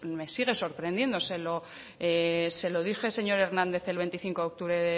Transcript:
me sigue sorprendiendo se lo dije señor hernández el veinticinco de octubre